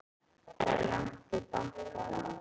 Það er langt í bankann!